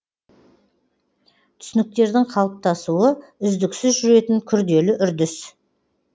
түсініктердің қалыптасуы үздіксіз жүретін күрделі үрдіс